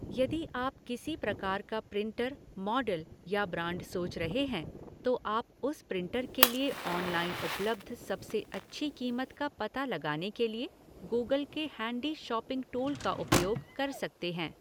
यदि आप किसी प्रकार का प्रिंटर, मॉडल या ब्रांड सोच रहे हैं, तो आप उस प्रिंटर के लिए ऑनलाइन उपलब्ध सबसे अच्छी कीमत का पता लगाने के लिए गूगल के हैंडी शॉपिंग टूल का उपयोग कर सकते हैं।